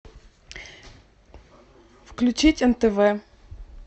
включить нтв